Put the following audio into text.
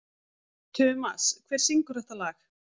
Tumas, hver syngur þetta lag?